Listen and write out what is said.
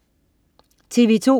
TV2: